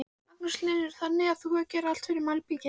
Magnús Hlynur: Þannig að þú gerir allt fyrir malbikið?